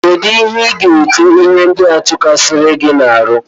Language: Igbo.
Kedụ ihe iga-ete ihe ndị a tokasiri gị n'ahụ.?